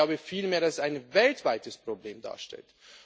ich glaube vielmehr, dass es ein weltweites Problem darstellt.